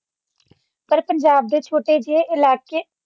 ਪਰ ਪੰਜਾਬ ਦੇ ਛੋਟੇ ਜਿਹੇ ਇਲਾਕਾਈ